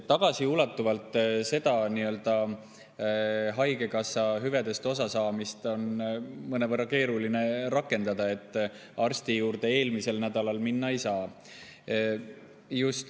Tagasiulatuvalt on haigekassa hüvedest osasaamist mõnevõrra keeruline rakendada, arsti juurde eelmisel nädalal minna ei saa.